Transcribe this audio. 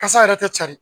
Kasa yɛrɛ tɛ cari